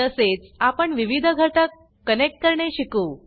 तसेच आपण विविध घटक कनेक्ट करणे शिकू